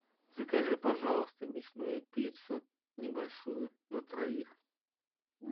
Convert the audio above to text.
закажи пожалуйста мясную пиццу небольшую на троих